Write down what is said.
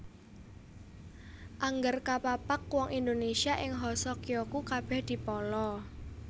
Angger kapapag wong Indonesia ing Hoso Kyoku kabèh dipala